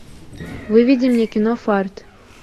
выведи мне кино фарт